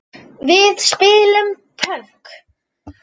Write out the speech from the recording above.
Við spilum pönk!